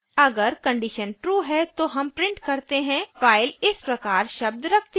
अगर condition true है तो हम print करते हैं फाइल इस प्रकार शब्द रखती है